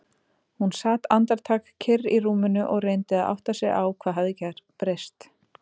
Hún sat andartak kyrr í rúminu og reyndi að átta sig á hvað hafði breyst.